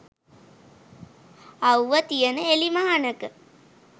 අව්ව තියෙන එලිමහනක